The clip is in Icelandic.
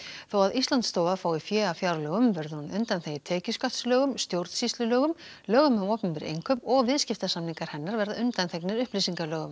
þó að Íslandsstofa fái fé af fjárlögum verður hún undanþegin tekjuskattslögum stjórnsýslulögum lögum um opinber innkaup og viðskiptasamningar hennar verða undanþegnir upplýsingalögum